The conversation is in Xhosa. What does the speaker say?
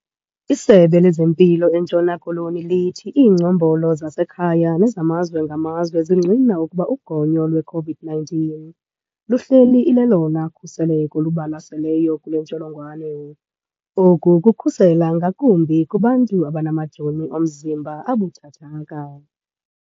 ISebe lezeMpilo eNtshona Koloni lithi iingcombolo zasekhaya nezamazwe ngamazwe zingqina ukuba ugonyo lwe-COVID-19 luhleli ilelona khuseleko lubalaseleyo kule ntsholongwane. Oku kukhusela ngakumbi kubantu abanamajoni omzimba abuthathaka.